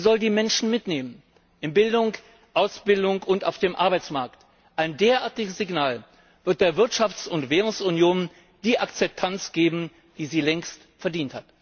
Sie soll die Menschen mitnehmen in Bildung, Ausbildung und auf dem Arbeitsmarkt. Ein derartiges Signal wird der Wirtschafts und Währungsunion die Akzeptanz geben, die sie längst verdient hat!